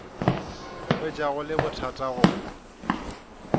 hwetša go le bothata go